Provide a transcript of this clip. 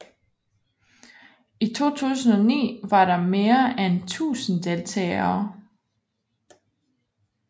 I 2009 var der mere end 1000 deltagere